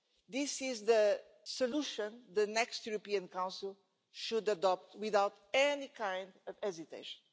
This is the solution the next European Council should adopt without any kind of hesitation.